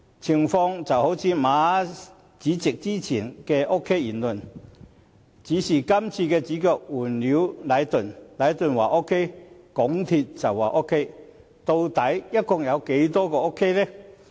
情況正如馬主席先前的 OK 言論，只是主角換了是禮頓，禮頓說 OK， 港鐵公司便說 OK， 但究竟有多 OK？